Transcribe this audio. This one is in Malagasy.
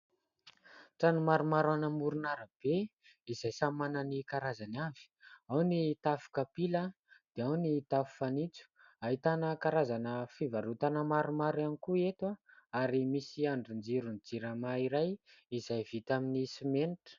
trano maromaro amoron'arabe izay samy manany karazany avy, ao ny tafo kapila dia ao ny tafo fanitso, hahitana karazana fivarotana maromaro ihany koa eto ary misy andrinjiron'ny JIRAMA iray izay vita amin'ny simenitra